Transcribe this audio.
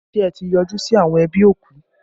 Ṣé ẹ ti yọjú sí àwọn ẹbí òkú?